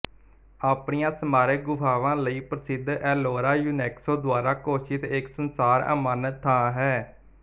ਆਪਣੀਆਂ ਸਮਾਰਕ ਗੁਫਾਵਾਂ ਲਈ ਪ੍ਰਸਿੱਧ ਏਲੋਰਾ ਯੁਨੇਸਕੋ ਦੁਆਰਾ ਘੋਸ਼ਿਤ ਇੱਕ ਸੰਸਾਰ ਅਮਾਨਤ ਥਾਂ ਹੈ